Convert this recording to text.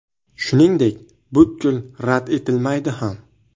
Shuningdek, butkul rad etilmaydi ham.